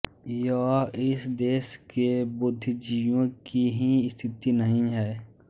यह इस देश के बुद्धिजीवियों की ही स्थिति नहीं है